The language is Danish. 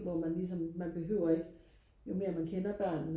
hvor man ligesom man behøver ikke jo mere man kender børnene